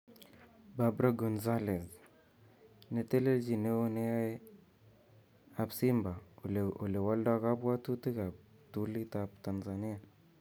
Barbara Gonzalez: Netelechi neo neyae ab Simba olewolda kabwatutik ab ptulit ab Tanzania.